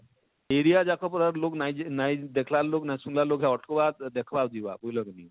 area ଯାକର pura ଲୋକ ନାଇଁ ଯେ ନାଇଁ ଦେଖଳା ନାଇଁ ସୁନଲା ଲୋକ ଅଟକ ବା ସୁନଵା ଆଉ ଦେଖବା ଆର ଯିବା